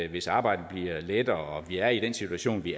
hvis arbejdet bliver lettere af vi er i den situation vi